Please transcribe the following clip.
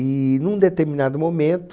E, num determinado momento...